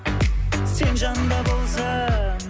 сен жанымда болсаң